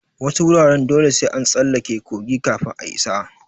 Wasu wuraren dole sai an tsallake kogi kafin a isa.